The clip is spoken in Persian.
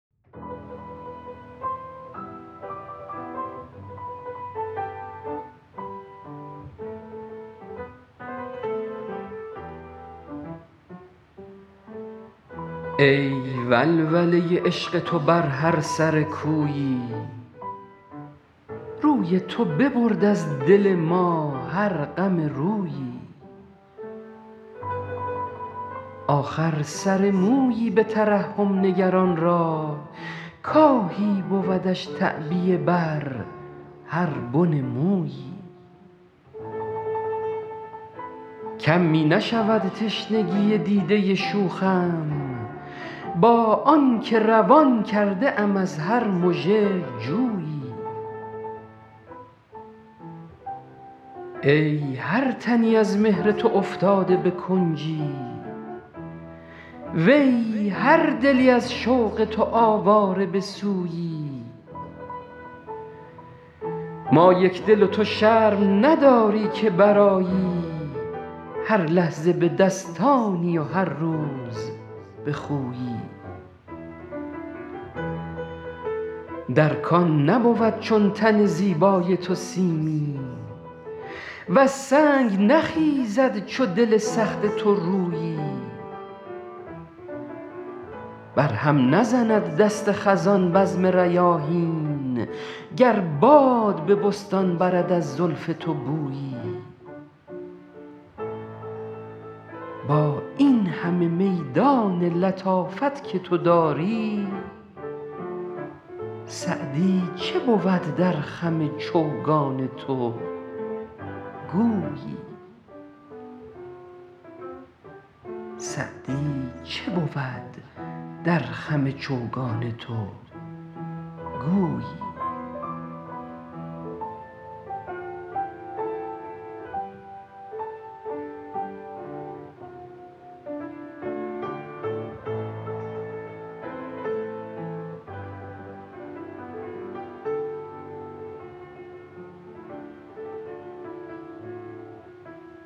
ای ولوله عشق تو بر هر سر کویی روی تو ببرد از دل ما هر غم رویی آخر سر مویی به ترحم نگر آن را کآهی بودش تعبیه بر هر بن مویی کم می نشود تشنگی دیده شوخم با آن که روان کرده ام از هر مژه جویی ای هر تنی از مهر تو افتاده به کنجی وی هر دلی از شوق تو آواره به سویی ما یکدل و تو شرم نداری که برآیی هر لحظه به دستانی و هر روز به خویی در کان نبود چون تن زیبای تو سیمی وز سنگ نخیزد چو دل سخت تو رویی بر هم نزند دست خزان بزم ریاحین گر باد به بستان برد از زلف تو بویی با این همه میدان لطافت که تو داری سعدی چه بود در خم چوگان تو گویی